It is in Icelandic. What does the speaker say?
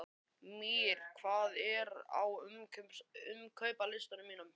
Mír, hvað er á innkaupalistanum mínum?